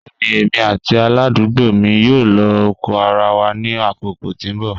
Bẹẹni emi ati aladugbo mi yoo lo oko ara wa ni akoko ti n bọ.